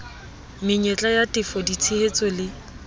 menyetla ya tefo ditshehetso le